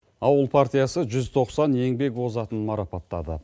ауыл партиясы жүз тоқсан еңбек озатын марапаттады